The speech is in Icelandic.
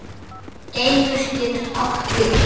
Geimur getur átt við